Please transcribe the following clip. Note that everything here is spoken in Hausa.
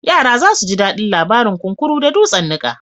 Yara za su ji daɗin labarin kunkuru da dutsen niƙa.